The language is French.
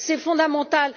C'est fondamental.